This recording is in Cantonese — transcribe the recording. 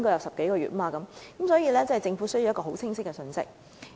所以，政府必須發出清晰的信息。